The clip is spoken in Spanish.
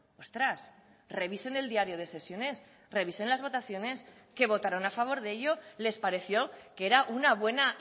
ostras revisen el diario de sesiones revisen las votaciones que votaron a favor de ello les pareció que era una buena